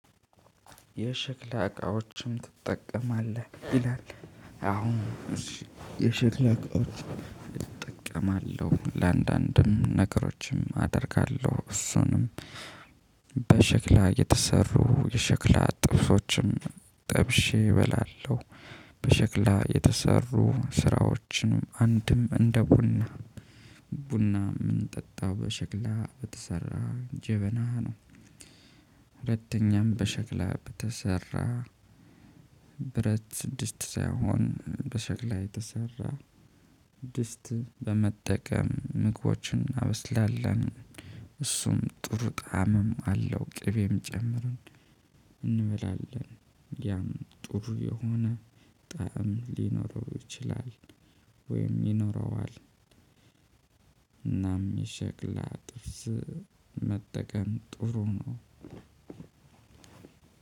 የሽክላ እቃዎችን ትጠቀማለህ ይላል? አሁን እሺ የሽክላ እቃዎች እጠቀማለሁ ለአንዳንድም ነገሮችም አደርጋለሁ እሱንም በሸክላ የተሰሩ የሸክላ ጥብሶችም ጠብሼ እበላለሁ። በሸክላ የተሰሩ ስራዎችንም አንድም እንደ ቡና ቡና ምን ጠጣ በሸክላ በተሰራ ጀበና ነው። ሁለተኛም በሸክላ በተሰራ ብረት ድስት ሳይሆን በሸክላ የተሰራ ድስት በመጠቀም ምግቦችን እናበስላለን። እሱም ጥሩ ጣዕምም አለው ቅቤም ጨምረን እንበላለን። ያም ጥሩ የሆነ ጣዕም ሊኖረው ይችላል። ወይም ይኖረዋል። እናም የሸክላ ጥብስ መጠቀም ጥሩ ነው።